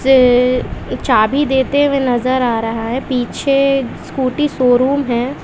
चाबी देते हुए नजर आ रहा है पीछे स्कूटी शोरूम है।